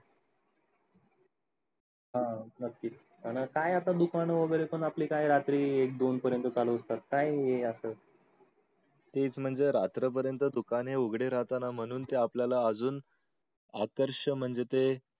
हा नक्की. आणि काय आता दुकान वगैरे आपले आता रात्रीचे एक दोन पर्यंत चालू असतात. काय आहे हे असं? तेच म्हणजे रात्र पर्यंत दुकाने उगधे राहताना म्हणून ते आपल्याला अजून आकर्ष म्हणजे ते